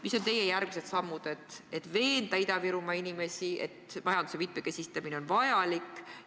Mis on teie järgmised sammud, et veenda Ida-Virumaa inimesi, et majanduse mitmekesistamine on vajalik?